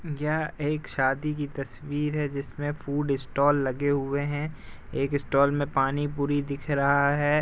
यह एक शादी की तस्वीर है जिसमें फूड स्टॉल लगे हुए हैं। एक स्टॉल में पानीपुरी दिख रहा है।